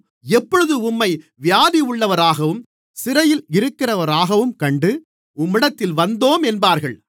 எப்பொழுது உம்மை வியாதியுள்ளவராகவும் சிறையிலிருக்கிறவராகவும் கண்டு உம்மிடத்தில் வந்தோம் என்பார்கள்